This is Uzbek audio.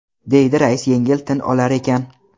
deydi rais yengil tin olar ekan.